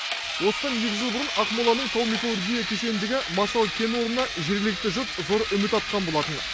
осыдан екі жыл бұрын ақмоланың тау металлургия кешеніндегі масал кен орнына жергілікті жұрт зор үміт артқан болатын